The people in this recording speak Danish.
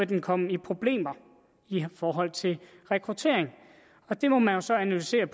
den komme i problemer i forhold til rekruttering og det må man jo så analysere